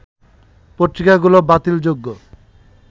পত্রিকাগুলো বাতিল যোগ্য